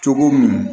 Cogo min